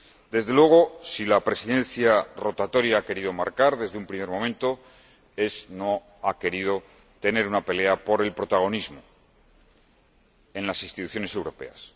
Desde luego, si la Presidencia rotatoria ha querido marcar algo desde un primer momento, es que no ha querido pelearse por el protagonismo en las instituciones europeas.